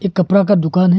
कपरा का दुकान है।